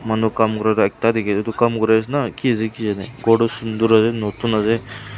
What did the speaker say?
manu kaam kura tu ekta dikhi etu kaam kuri ase na ki ase ki jaane ghor tu sundor ase notun ase.